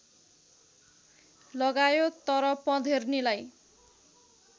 लगायो तर पँधेर्नीलाई